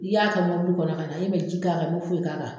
I y'a kɛ mɔbili kɔnɔ ka na e man ji k'a kan i man foyi k'a kan.